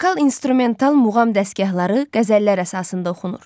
Vokal-instrumental muğam dəstgahları qəzəllər əsasında oxunur.